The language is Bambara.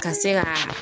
Ka se ka